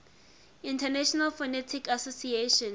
international phonetic association